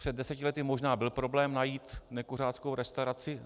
Před deseti lety možná byl problém najít nekuřáckou restauraci.